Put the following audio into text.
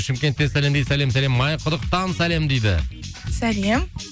шымкенттен сәлем дейді сәлем сәлем майқұдықтан сәлем дейді сәлем